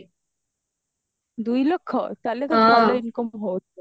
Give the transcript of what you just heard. ଦୁଇ ଲକ୍ଷ ତାହେଲେ ତ ଭଲ income ହଉଥିବା